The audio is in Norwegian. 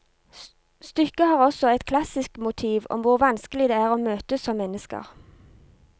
Stykket har også et klassisk motiv om hvor vanskelig det er å møtes som mennesker.